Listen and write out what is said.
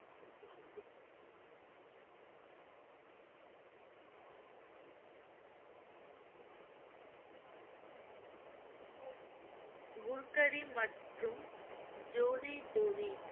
குர்கரி மற்றும் ஜோதி ஜோதி